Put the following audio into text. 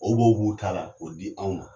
O b'o b'u ta la ko o di anw ma.